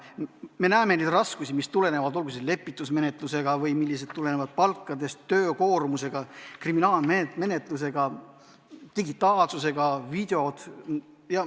Me näeme neid raskusi, mis kaasnevad lepitusmenetlusega või mis on seotud palkade, töökoormuse, kriminaalmenetluse, digitaalsusega, videotega.